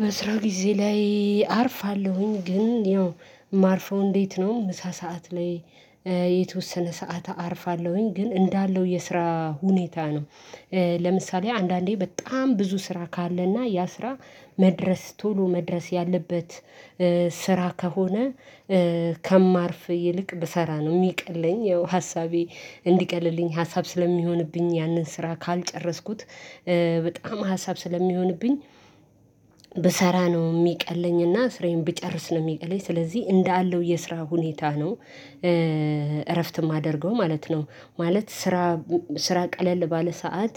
በስራ ጊዜ ላይ አርፋለሁኝ ግን ያው ማርፈው እንዴት ነው ምሳ ሰዓት ላይ የተወሰነ ሰዓት አርፋለሁኝ ግን እንዳለው የስራ ሁኔታ ነው። ለምሳሌ አንዳንዴ በጣም ብዙ ስራ ካለና ያ ስራ መድረስ ቶሎ መድረስ ያለበት ስራ ከሆነ ከማርፍ ይልቅ ብሰራ ነው የሚቀለኝ ያው ሀሳቤ እንዲቀልልኝ ሀሳብ ስለሚሆንብኝ ያንን ስራ ካልጨረስኩት በጣም ሀሳብ ስለሚሆንብኝ ብሰራ ነው የሚቀለኝና ስራዬን ብጨርስ ነው የሚቀለኝ ስለዚህ እንዳለው የስራ ሁኔታ ነው። እረፍት እማደርገው ማለት ነው ማለት ስራ ስራ ቀለል ባለ ሰዓት